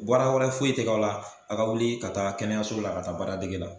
Baara wɛrɛ foyi tɛ kaw la, a ka wuli ka taa kɛnɛyaso la ka taa baara dege la.